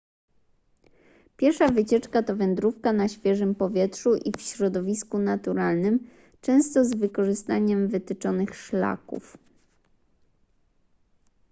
piesza wycieczka to wędrówka na świeżym powietrzu i w środowisku naturalnym często z wykorzystaniem wytyczonych szlaków